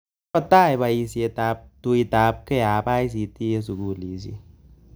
Kagotai paisyet ap tuitapgei ap ICT eng' sugulisiek